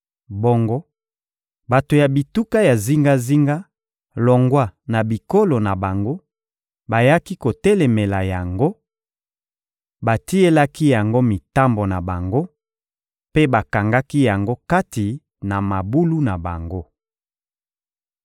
Bongo bato ya bituka ya zingazinga, longwa na bikolo na bango, bayaki kotelemela yango, batielaki yango mitambo na bango mpe bakangaki yango kati na mabulu na bango.